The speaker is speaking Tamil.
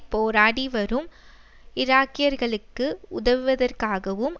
போராடி வரும் ஈராக்கியர்களுக்கு உதவுவதற்காகவும்